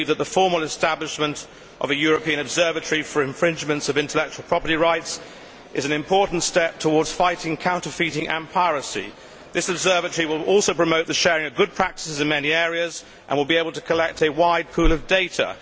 We believe that the formal establishment of a European observatory for infringements of intellectual property rights is an important step towards fighting counterfeiting and piracy. This observatory will also promote the sharing of good practices in many areas and will be able to collect a wide pool of data.